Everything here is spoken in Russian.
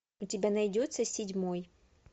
у тебя найдется седьмой